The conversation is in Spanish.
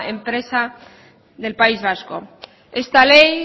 empresa del país vasco esta ley